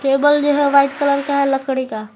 Table जो है white colour का है लकड़ी का।